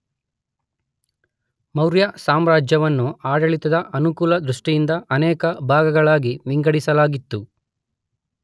ಮೌರ್ಯ ಸಾಮ್ರಾಜ್ಯವನ್ನು ಆಡಳಿತದ ಅನುಕೂಲದೃಷ್ಟಿಯಿಂದ ಅನೇಕ ಭಾಗಗಳನ್ನಾಗಿ ವಿಂಗಡಿಸಲಾಗಿತ್ತು.